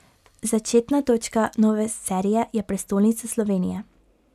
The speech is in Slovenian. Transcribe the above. Začetna točka nove serije je prestolnica Slovenije.